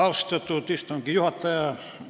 Austatud istungi juhataja!